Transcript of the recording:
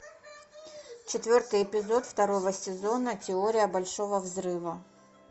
четвертый эпизод второго сезона теория большого взрыва